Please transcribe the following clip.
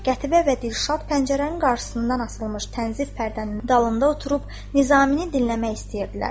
Qətibə və Dilşad pəncərənin qarşısından asılmış tənzif pərdənin dalında oturub Nizamini dinləmək istəyirdilər.